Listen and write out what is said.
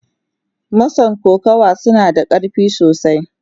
Mason kokawa suna da karfi sosai.